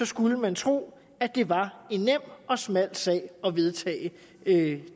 skulle man tro at det var en nem og smal sag at vedtage